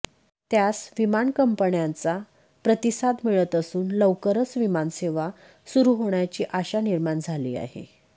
त्यास विमान कंपन्यांचा प्रतिसाद मिळत असून लवकरच विमानसेवा सुरू होण्याची आशा निर्माण झाली आहे